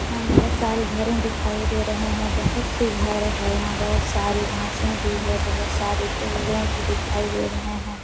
यहाँ बोहोत सारे घरे दिखाई दे रहे है। बोहोत ही घर है। यहां बोहोत सारे घासें भी है। बोहोत सारे पेड़े भी दिखाई दे रहे है।